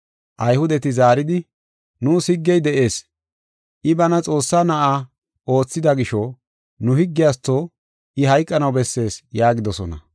Ayhudeti zaaridi, “Nuus higgey de7ees. I bana Xoossaa na7a oothida gisho nu higgiyatho I hayqanaw bessees” yaagidosona.